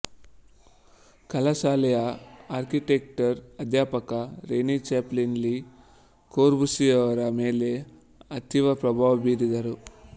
ಕಲಾಶಾಲೆಯ architecture ಅಧ್ಯಾಪಕ Rene Chapallaz Le ಕೋರ್ಬೂಸಿಯೇರವರ ಮೇಲೆ ಅತೀವ ಪ್ರಭಾವ ಬೀರಿದರು